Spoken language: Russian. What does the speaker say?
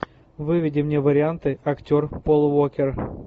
выведи мне варианты актер пол уокер